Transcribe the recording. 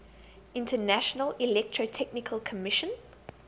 international electrotechnical commission